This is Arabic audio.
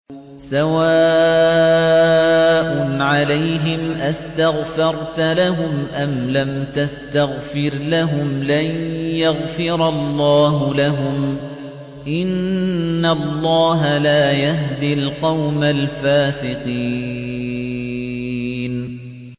سَوَاءٌ عَلَيْهِمْ أَسْتَغْفَرْتَ لَهُمْ أَمْ لَمْ تَسْتَغْفِرْ لَهُمْ لَن يَغْفِرَ اللَّهُ لَهُمْ ۚ إِنَّ اللَّهَ لَا يَهْدِي الْقَوْمَ الْفَاسِقِينَ